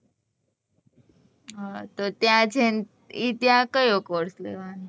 હ તો ત્યાં જઈ ને ઈ ત્યાં કયો course લેવાનો